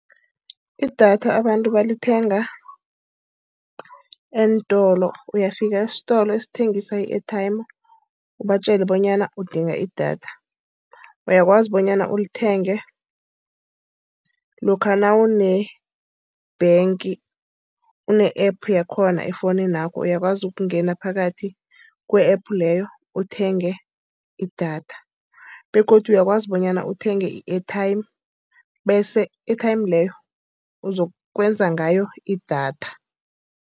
Idatha abantu balithenga eentolo. Uyafika esitolo esithengiswa i-airtime ubatjele bonyana udinga idatha. Uyakwazi bonyana ulithenge lokha nawune-bank, une-App yakhona efowuninakho uyakwazi ukungena phakathi kwe-App leyo uthenge idatha. Begodu uyakwazi bonyana uthenge i-airtime bese i-airtime leyo uzakwenza ngayo idatha.